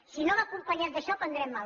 si no va acompanyat d’això prendrem mal